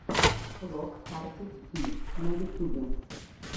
влог карди би на ютубе